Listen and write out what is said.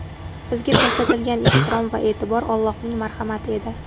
Bizga ko‘rsatilgan ehtirom va e’tibor Allohning marhamati edi.